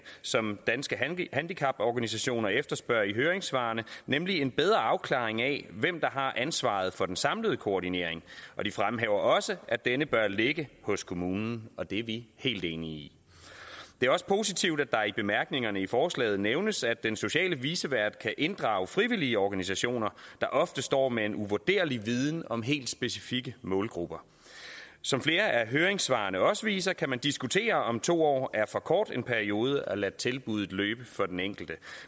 som danske handicaporganisationer efterspørger i høringssvarene nemlig en bedre afklaring af hvem der har ansvaret for den samlede koordinering og de fremhæver også at denne bør ligge hos kommunen og det er vi helt enige i det er også positivt at der i bemærkningerne i forslaget nævnes at den sociale vicevært kan inddrage frivillige organisationer der ofte står med en uvurderlig viden om helt specifikke målgrupper som flere af høringssvarene også viser kan man diskutere om to år er for kort en periode at lade tilbuddet løbe for den enkelte